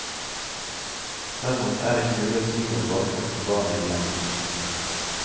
Derimot er det ikke mulig å si noe om bakgrunnen for barna i legd.